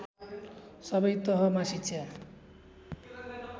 सबै तहमा शिक्षा